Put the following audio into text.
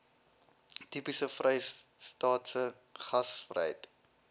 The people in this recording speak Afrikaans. tipies vrystaatse gasvryheid